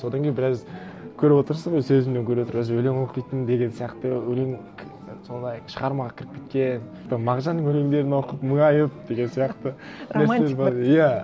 содан кейін біраз көріп отырсыз ғой сөзімнен көріп отырасыз өлең оқитын деген сияқты өлең сондай шығармаға кіріп кеткен там мағжанның өлеңдерін оқып мұнайып деген сияқты романтик бір иә